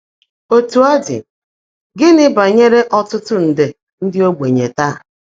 Ótú ó ḍị́, gị́ní bányèré ọ́tụ́tụ́ ńdé ndị́ ógbènyé táá?